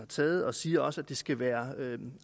taget og siger også at det skal være